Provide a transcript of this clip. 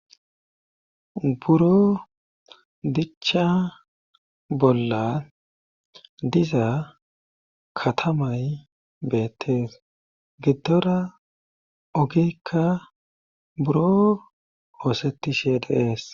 Buro dicha bolla diza katamay beettees giddora ogikka buro oosettishe de7ees.